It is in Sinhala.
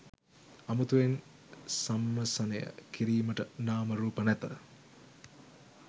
අමුතුවෙන් සම්මසනය කිරීමට නාම රූප නැත.